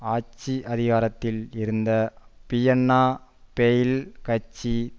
ஆட்சி அதிகாரத்தில் இருந்த பியன்னா ஃபெயில் கட்சி